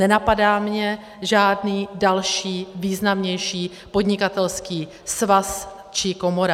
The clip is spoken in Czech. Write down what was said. Nenapadá mě žádný další významnější podnikatelský svaz či komora.